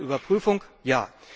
Eine Überprüfung, ja.